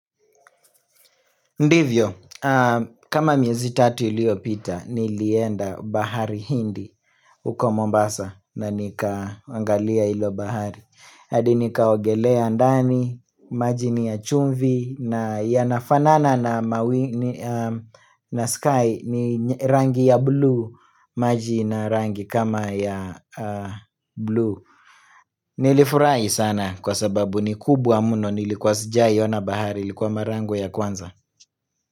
Ndivyo, kama miezi tatu iliyopita, nilienda bahari hindi huko Mombasa na nikaangalia hilo bahari. Hadi nikaogelea ndani, maji ni ya chumvi na yanafanana na sky ni rangi ya blue, maji ina rangi kama ya blue. Nilifurahi sana kwa sababu ni kubwa mno nilikuwa sijai ona bahari, ilikuwa mara yangu ya kwanza.